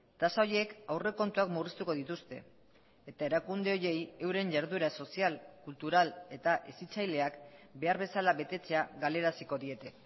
tasa horiek aurrekontuak murriztuko dituzte eta erakunde horiei euren jarduera sozial kultural eta hezitzaileak behar bezala betetzea galaraziko diete